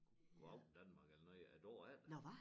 Go' Aften Danmark eller noget æ dag efter